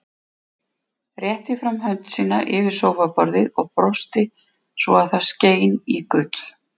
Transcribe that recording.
Rétti fram hönd sína yfir sófaborðið og brosti svo að skein í gull.